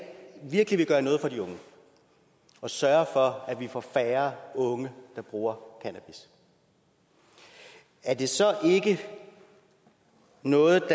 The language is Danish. virkelig vil gøre noget for de unge og sørge for at vi får færre unge der bruger cannabis er det så ikke noget der